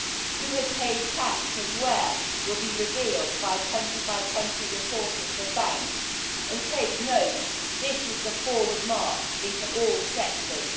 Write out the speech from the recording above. Who has paid tax and where will be revealed by country by country reporting for banks and take note, this is the forward march into all sectors.